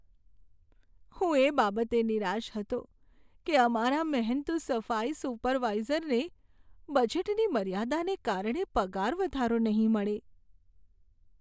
હું એ બાબતે નિરાશ હતો કે અમારા મહેનતુ સફાઈ સુપરવાઇઝરને બજેટની મર્યાદાને કારણે પગાર વધારો નહીં મળે.